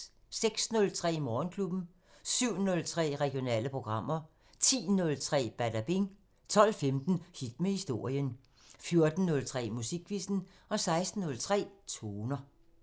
06:03: Morgenklubben 07:03: Regionale programmer 10:03: Badabing 12:15: Hit med historien 14:03: Musikquizzen 16:03: Toner